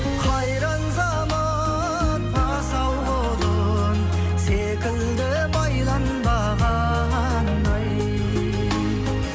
қайран заман асау құлын секілді байланбаған ай